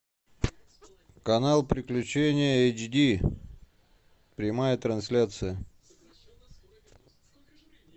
канал приключения эйч ди прямая трансляция